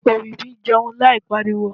òwìwí jẹun láì pariwo